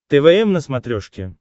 твм на смотрешке